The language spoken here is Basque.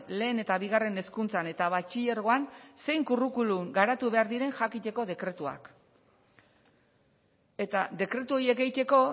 lehen eta bigarren hezkuntzan eta batxilergoan zein curriculum garatu behar diren jakiteko dekretuak eta dekretu horiek egiteko